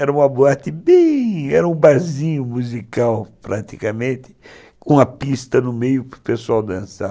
Era uma boate bem... Era um barzinho musical, praticamente, com uma pista no meio para o pessoal dançar.